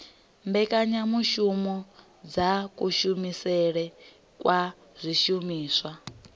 mbekanyamushumo dza kushumisele kwa zwishumiswa